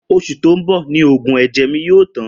Osù tó n bò ni oògùn èjè mi yóò tán